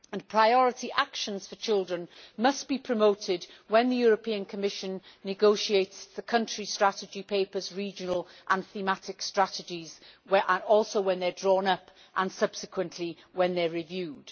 Priority actions for children must be promoted when the European Commission negotiates the country strategy papers' regional and thematic strategies, when they are drawn up, and subsequently when they are reviewed.